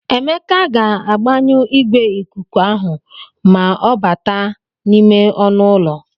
Emeka ga-agbanyụ igwe ikuku ahụ ma ọ bata n'ime ọnụ ụlọ.